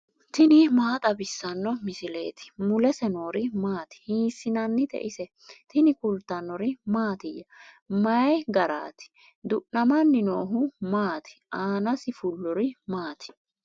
tini maa xawissanno misileeti ? mulese noori maati ? hiissinannite ise ? tini kultannori mattiya? Mayi garaatti? du'nammanni noohu maatti? aanasi fuloori maati?